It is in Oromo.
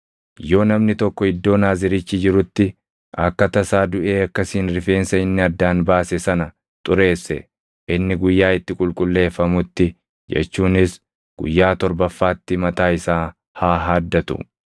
“ ‘Yoo namni tokko iddoo Naazirichi jirutti akka tasaa duʼee akkasiin rifeensa inni addaan baase sana xureesse, inni guyyaa itti qulqulleeffamutti jechuunis guyyaa torbaffaatti mataa isaa haa haaddatu.